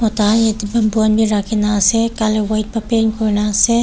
mota kan yete bamboo kan b raki na ase color white ba paint kurina ase.